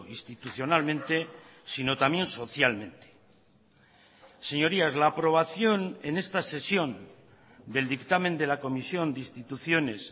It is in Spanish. institucionalmente sino también socialmente señorías la aprobación en esta sesión del dictamen de la comisión de instituciones